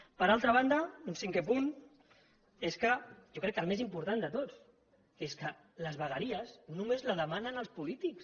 per altra banda un cinquè punt jo crec que el més important de tots és que les vegueries només les demanen els polítics